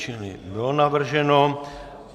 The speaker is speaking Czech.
Čili bylo navrženo.